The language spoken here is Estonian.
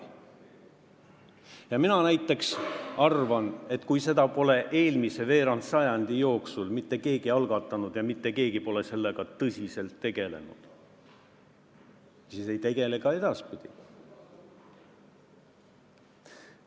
Ja mina näiteks arvan, et kui eelmise veerandsajandi jooksul pole mitte keegi seda teemat algatanud ega sellega tõsiselt tegelenud, siis ei tegele ka edaspidi.